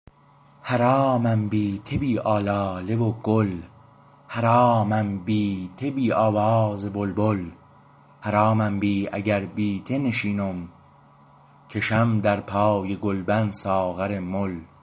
حرامم بی ته بی آلاله و گل حرامم بی ته بی آواز بلبل حرامم بی اگر بی ته نشینم کشم در پای گلبن ساغر مل